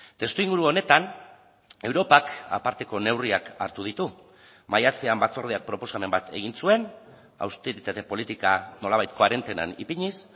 testuinguru honetan europak aparteko neurriak hartu ditu maiatzean batzordeak proposamen bat egin zuen austeritate politika nolabait koarentenan ipiniz